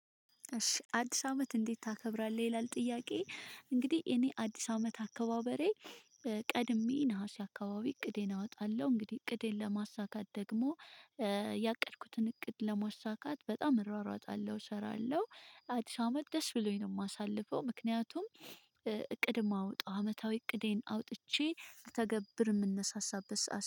እሺ አዲስ አመት እንዴት ታከብራለህ ይላል ጥያቄ እንግዲህ እኔ አዲስ አመት አከባበሬ። ቀድሜ ነሀሴ አካባቢ እቅዴን አወጣለሁ እንግዲህ እቅዴን ለማሳካት ደግሞ ያቀድኩትን እቅድ ለማሳካት በጣም እሯሯጣለሁ እሰራለሁ። አዲስ አመት ደስ ብሎኝ ነው የማሳልፈው። ምክንያቱም ማውጣት አመታዊ እቅዴን አውጥቼ ልተገብር የምንነሳሳበት